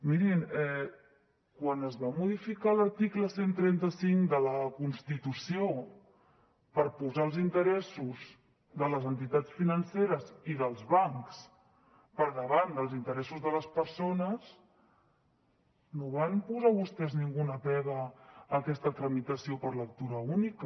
mirin quan es va modificar l’article cent i trenta cinc de la constitució per posar els interessos de les entitats financeres i dels bancs per davant dels interessos de les persones no van posar vostès ninguna pega a aquesta tramitació per lectura única